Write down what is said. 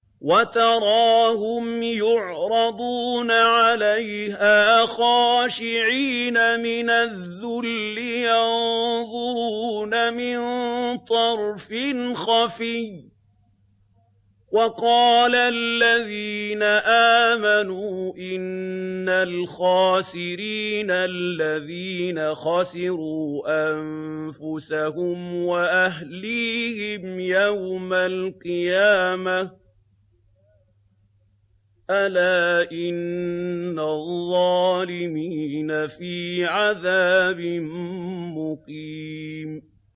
وَتَرَاهُمْ يُعْرَضُونَ عَلَيْهَا خَاشِعِينَ مِنَ الذُّلِّ يَنظُرُونَ مِن طَرْفٍ خَفِيٍّ ۗ وَقَالَ الَّذِينَ آمَنُوا إِنَّ الْخَاسِرِينَ الَّذِينَ خَسِرُوا أَنفُسَهُمْ وَأَهْلِيهِمْ يَوْمَ الْقِيَامَةِ ۗ أَلَا إِنَّ الظَّالِمِينَ فِي عَذَابٍ مُّقِيمٍ